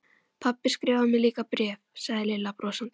Pabbi skrifar mér líka bréf sagði Lilla brosandi.